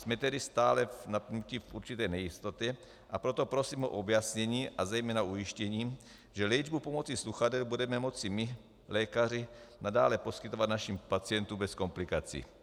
Jsme tedy stále v určité nejistotě, a proto prosím o objasnění a zejména ujištění, že léčbu pomocí sluchadel budeme moci my lékaři nadále poskytovat našim pacientům bez komplikací.